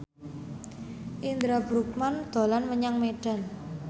Indra Bruggman dolan menyang Medan